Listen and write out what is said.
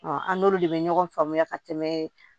an n'olu de bɛ ɲɔgɔn faamuya ka tɛmɛ